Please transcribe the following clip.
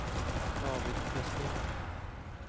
David Westin